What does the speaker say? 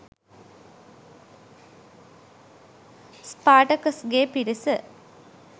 ස්පාටකස්ගේ පිරිස